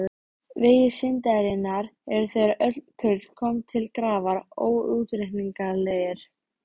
Vegir syndarinnar eru þegar öll kurl koma til grafar óútreiknanlegir.